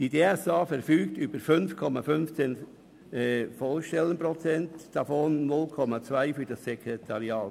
Sie verfügt über 5,15 Vollstellen, davon 0,2 für das Sekretariat.